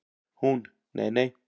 Hún: Nei nei.